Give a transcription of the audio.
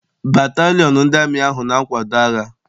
Batalịon ndị amị ahụ na-akwado agha.